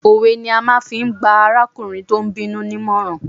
Òwe ni wọ́n fi gba arákùnrin ní ìmọ̀ràn.